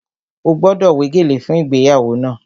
Ó gbọ́dọ̀ wé gèlè fún ìgbéyàwó náà!